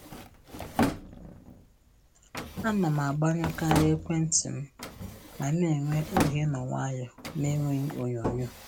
Ana m agbanyụkarị ekwentị m ma na-enwe oge ịnọ nwayọọ na-enweghị onyoo nyoo